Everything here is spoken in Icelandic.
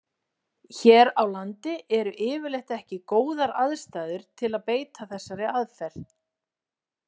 Hér á landi eru yfirleitt ekki góðar aðstæður til að beita þessari aðferð.